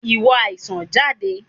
Ìwọ àìsàn, jáde!